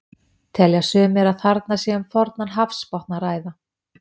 Telja sumir að þarna sé um fornan hafsbotn að ræða.